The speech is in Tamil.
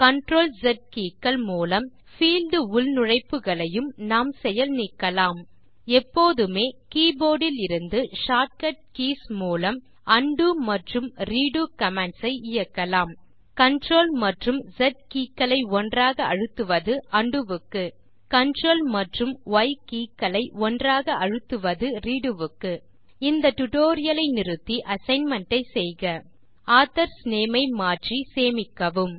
CTRLZ keyக்கள் மூலம் பீல்ட் உள்நுழைப்புகளையும் நாம் செயல் நீக்கலாம் எப்போதுமே கே போர்ட் இலிருந்து ஷார்ட் கட் கீஸ் மூலம் உண்டோ மற்றும் ரெடோ கமாண்ட்ஸ் ஐ இயக்கலாம் CTRL மற்றும் ஸ் keyக்களை ஒன்றாக அழுத்துவது உண்டோ க்கு CTRL மற்றும் ய் keyக்களை ஒன்றாக அழுத்துவது ரெடோ க்கு இந்த டியூட்டோரியல் லை நிறுத்தி அசைன்மென்ட் ஐ செய்க ஆதர்ஸ் நேம் ஐ மாற்றி சேமிக்கவும்